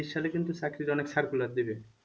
তেইশ সালে কিন্তু চাকরির অনেক circular দেবে।